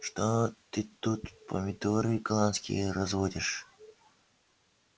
что ты тут помидоры голландские разводишь